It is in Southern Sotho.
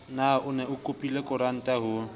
ne o kopile koranta ho